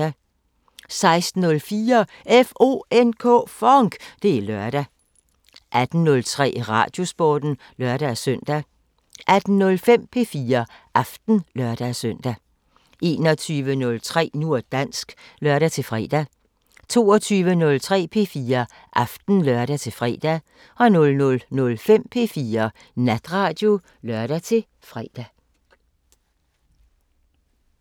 16:04: FONK! Det er lørdag 18:03: Radiosporten (lør-søn) 18:05: P4 Aften (lør-søn) 21:03: Nu og dansk (lør-fre) 22:03: P4 Aften (lør-fre) 00:05: P4 Natradio (lør-fre)